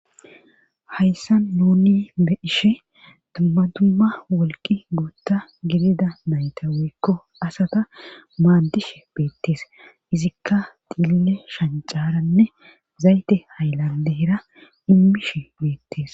Hayssan nuni be'ishe tummadumma wolqi guutta gidida nayta woykko asata maaddishe beettees izikka diille shancaranne zayte hayllandeera immishe beettees.